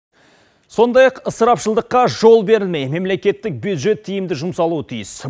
сондай ақ ысырапшылдыққа жол бермей мемлекеттік бюджет тиімді жұмсалуы тиіс